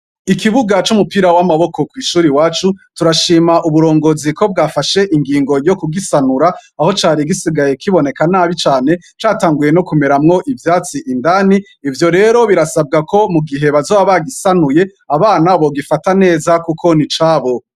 Ikibuga c'umupira w'amaboko kw'shuri iwacu turashima uburongozi ko bwafashe ingingo yo kugisanura, aho cari gisigaye kiboneka nabi cane, catanguye no kumeramwo ivyatsi indani. Ivyo rero birasabwa ko mu gihe bazoba bagisanuye abana bogifata neza kuko ni icabo.